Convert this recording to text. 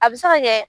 A bɛ se ka kɛ